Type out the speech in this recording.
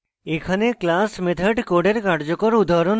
এখানে class methods code কার্যকর উদাহরণ রয়েছে